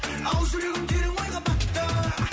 ал жүрегім терең ойға батты